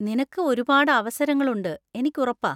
നിനക്ക് ഒരുപാട് അവസരങ്ങൾ ഉണ്ട്, എനിക്കുറപ്പാ.